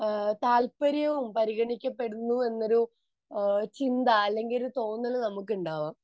നമ്മളെ താല്പര്യവും പരിഗണിക്കപ്പെടുന്നു എന്ന ഒരു ചിന്ത അല്ലെങ്കിൽ ഒരു തോന്നൽ നമ്മക്ക് ഉണ്ടാവും